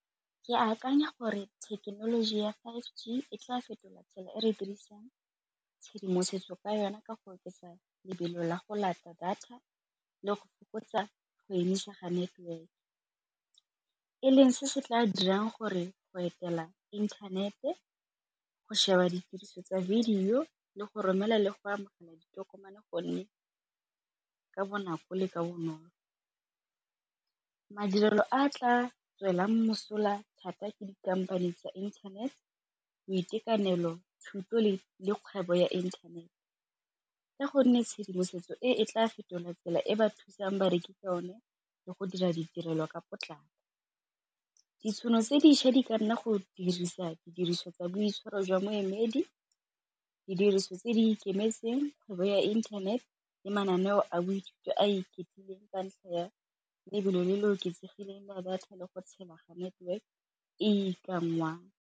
Ke akanya gore thekenoloji ya five G e tla fetola tsela e re dirisang tshedimosetso ka yona ka go oketsa lebelo la go data le go fokotsa go emisega network, e leng se se tla dirang gore go etela inthanete, go sheba ditiriso tsa video le go romela le go amogela ditokomane gonne ka bonako le ka bonolo. Madirelo a tla tswelang mosola thata ke dikhamphane tsa internet, boitekanelo thuto le kgwebo ya internet, ka gonne tshedimosetso e e tla fetola tsela e ba thusang bareki ka yone le go dira ditirelo ka potlako. Ditšhono tse dišwa di ka nna go dirisa didiriswa tsa boitshwaro jwa moemedi, didiriswa tse di ikemetseng, kgwebo ya internet le mananeo a boitshupo a ikgethileng ka ntlha ya lebelo le le oketsegileng la data le go tshela ga network e ikanngwang.